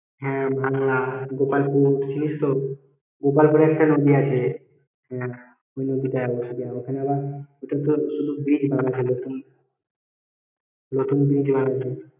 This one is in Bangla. হ্যাঁ ভাংলা গোপালপুর চিনিস তো গোপালপুরে একটা নদী আছে ওই নদীটায় ওইখানে আবার ওইটা তো bridge হবে ভালো তো নতুন bridge এবার হয়েছে।